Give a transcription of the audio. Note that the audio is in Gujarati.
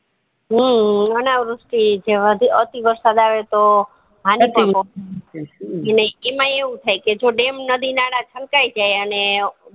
હમ અનાવૃષ્ટિ જેવા અતિ વરસાદ આવે તો હાનીકારક પણ બૌ એટલે એમાય એવું થાય કે જો dam નદી નાળા છલકાય જાય અને